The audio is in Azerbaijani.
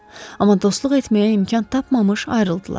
Amma dostluq etməyə imkan tapmamış ayrıldılar.